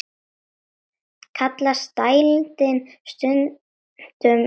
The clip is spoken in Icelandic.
Kallast dældin stundum laut.